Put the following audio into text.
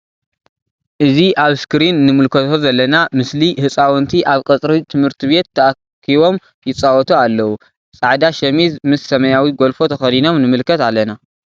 እዚ አብ እስክሪን እንምልከቶ ዘለና ምስሊ ህፃውንቲ አብ ቀፅሪ ትምህርት ቤት ታኪቦም ይፃወቱ አለዎ::ፃዕዳ ሸሚዝ ምስ ሰማያዊ ጎልፎ ተከዲኖም ንምልከት አለና::